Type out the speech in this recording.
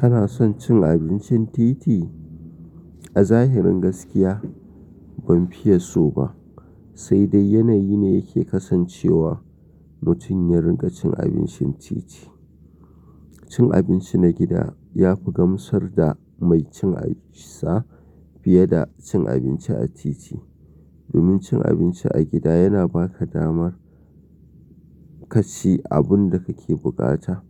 Kana son cin abincin titi? A zahirin gaskiya ban fiye so ba, sai dai yanayi ne ke kasancewa mutun ya rinka cin abincin titi. Cin abinci na gida ya fi gamsar da mai cin sa fiye da cin abinci a titi. Domin cin abinci a gida yana ba ka dama ka ci abun da kake bukata,